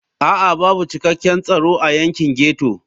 A'a babu cikakken tsaro a yankin ghetto.